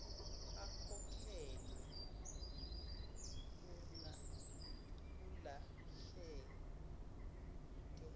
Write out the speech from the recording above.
akhokhelwe urna kulahleke